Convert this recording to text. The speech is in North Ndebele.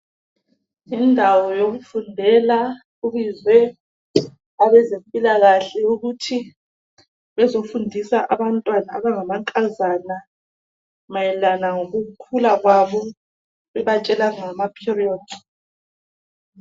Yindawo yokufundela. Kubizwe abezempilakahle, ukuthi bezefundisa abantwana abangamankazana. Mayelana lokukhula kwabo. Bebatshela ngamaperiod.